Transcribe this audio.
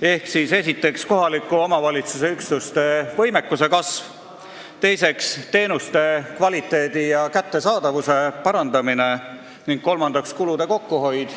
esiteks, kohaliku omavalitsuse üksuste võimekuse kasv, teiseks, teenuste kvaliteedi ja kättesaadavuse parandamine, kolmandaks, kulude kokkuhoid.